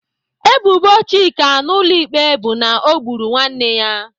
Ebubo Chika na ụlọ ikpe bụ na ọ gburu nwanne ya.